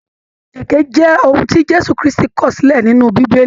Èké jẹ ohùn ti Jésù kristi kọọ̀ silẹ nínú bíbélì.